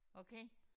Okay